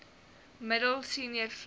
middel senior vlak